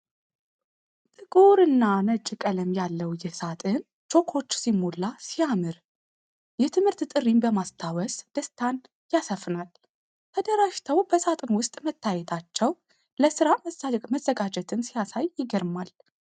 ጥቁር እና ነጭ ቀለም ያለው ይህ ሳጥን ቾኮች ሲሞላ ሲያምር፣ የትምህርት ጥሪን በማስታወስ ደስታን ያሰፍናል። ተደራጅተው በሳጥን ውስጥ መታየታቸው፣ ለስራ መዘጋጀትን ሲያሳይ ይገርማል።